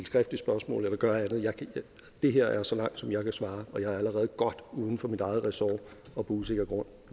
skriftligt spørgsmål eller gøre andet det her er så langt som jeg kan svare og jeg er allerede godt uden for mit eget ressort og på usikker grund